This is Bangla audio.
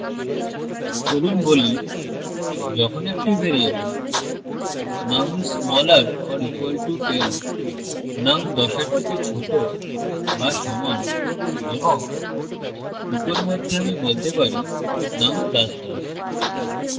চলুন বলি যখন একটি variable num is smaller or equal to 10 num 10 এর থেকে ছোট বা সমান এবং echo মধ্যে আমি বলতে পারিnum ++